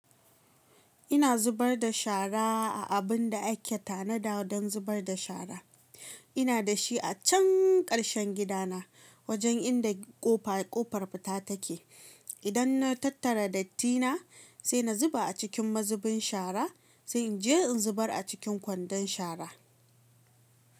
Ina zubar da shara a abin da ake tanada don zubar da shara. Ina da shi a can ƙarshen gidana wajen inda ƙofa kofar fita take. Idan na tattara datti na sai na zuba a cikin mazubin shara sai in je in zubar a cikin kwandon shara.